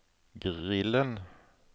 grillen